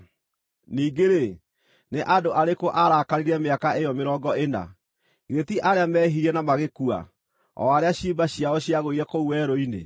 Ningĩ-rĩ, nĩ andũ arĩkũ aarakarĩire mĩaka ĩyo mĩrongo ĩna? Githĩ ti arĩa meehirie, na magĩkua, o arĩa ciimba ciao ciagũire kũu werũ-inĩ?